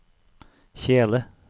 kjele